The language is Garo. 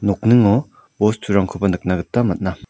nokningo bosturangkoba nikna gita man·a.